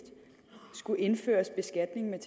skal indføres beskatning med